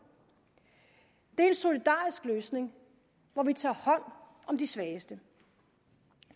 det er en solidarisk løsning hvor vi tager hånd om de svageste